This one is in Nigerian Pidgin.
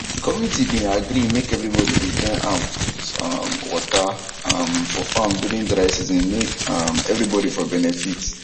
the community been agree make everybody de join hand put um water um for farm during dry season make um everybody for benefit